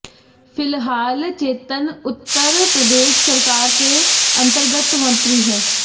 फिलहाल चेतन उत्तर प्रदेश सरकार के अंतर्गत मंत्री हैं